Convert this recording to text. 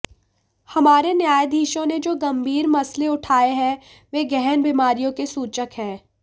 हमारे न्यायाधीशों ने जो गंभीर मसले उठाए हैं वे गहन बीमारियों के सूचक हैं